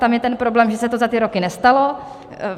Tam je ten problém, že se to za ty roky nestalo.